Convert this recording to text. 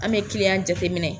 An bɛ kiliyan jateminɛ.